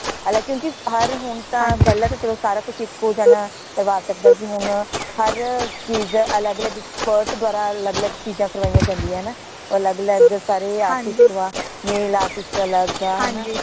ਹਾਲਾਂ ਕਿਉਂਕਿ ਹਰ ਹੁਣ ਤਾਂ ਪਹਿਲਾ ਤਾ ਸਾਰਾ ਕੁਛ ਇਕੋ ਜਨਾ ਕਰਵਾ ਸਕਦਾ ਸੀ ਹੁਣ ਹਰ ਚੀਜ਼ ਅਲਗ ਅਲਗ expert ਦ੍ਵਾਰਾ ਅਲਗ ਅਲਗ ਚੀਜ਼ਾਂ ਕਰਵਾਇਆ ਜਾਂਦੀਆਂ ਹੈ ਨਾ ਅਲਗ ਅਲਗ ਸਾਰੇ artist ਵਾ nail artist ਅਲਗ ਹਾ ਨਾ